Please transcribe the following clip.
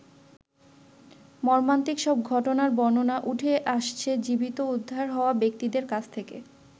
মর্মান্তিক সব ঘটনার বর্ণনা উঠে আসছে জীবিত উদ্ধার হওয়া ব্যক্তিদের কাছ থেকে।